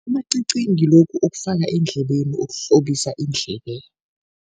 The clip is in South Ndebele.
Amacici ngilokhu okufaka eendlebeni, okuhlobisa iindlebe.